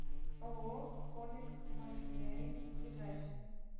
ооо комек машинери ближайший